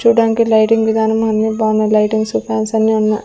చూడ్డానికి లైటింగ్ విధానం అన్ని బానే లైటింగ్స్ ఫాన్స్ అన్ని ఉన్నా --